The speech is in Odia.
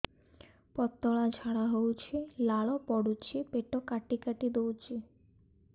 ପତଳା ଝାଡା ହଉଛି ଲାଳ ପଡୁଛି ପେଟ କାଟି କାଟି ଦଉଚି